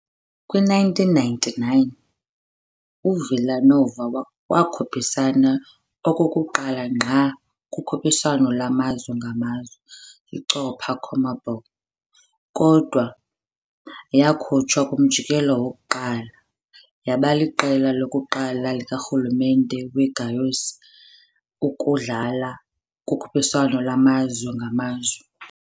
Kwi-1999, uVila Nova wakhuphisana okokuqala ngqa kukhuphiswano lwamazwe ngamazwe, iCopa CONMEBOL kodwa yakhutshwa kumjikelo wokuqala, yaba liqela lokuqala likarhulumente weGoiás ukudlala kukhuphiswano lwamazwe ngamazwe.